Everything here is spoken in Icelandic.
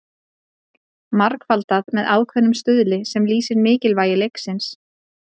margfaldað með ákveðnum stuðli sem lýsir mikilvægi leiksins